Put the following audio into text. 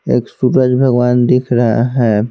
एक सूरज भगवान दिख रहा है।